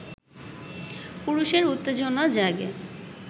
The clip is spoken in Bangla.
পুরুষের উত্তেজনা জাগে